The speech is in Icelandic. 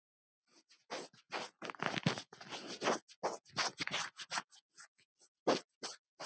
Gísli: Hver er hún?